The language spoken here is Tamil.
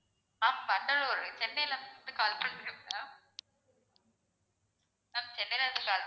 ma'am வண்டலூர். சென்னைல இருந்து call பண்றேன் ma'am ma'am சென்னைல இருந்து call